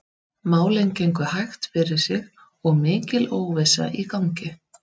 Málin gengu hægt fyrir sig og mikil óvissa í gangi.